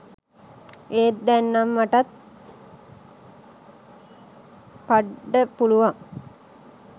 එත් දැන් නම් මටත් කඩ්ඩ පුළුවන්